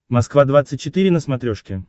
москва двадцать четыре на смотрешке